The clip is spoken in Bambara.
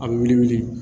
A bɛ wili